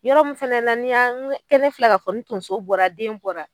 Yɔrɔ min fɛnɛ la n'i y'a ŋe filɛ ka fɔ ni tonso bɔra den bɔra